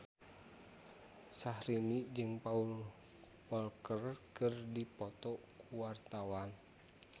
Syahrini jeung Paul Walker keur dipoto ku wartawan